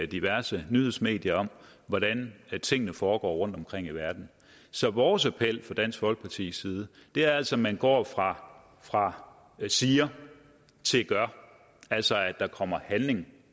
diverse nyhedsmedier hvordan tingene foregår rundtomkring i verden så vores appel fra dansk folkepartis side er altså at man går fra fra siger til gør altså at der kommer handling